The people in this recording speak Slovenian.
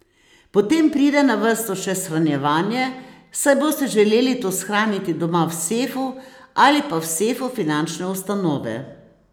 Potem pride na vrsto še shranjevanje, saj boste želeli to shraniti doma v sefu ali pa v sefu finančne ustanove.